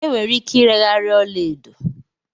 Enwere ike ireghari ọla edo